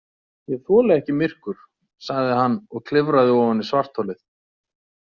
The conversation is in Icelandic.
Ég þoli ekki myrkur, sagði hann og klifraði ofan í svartholið.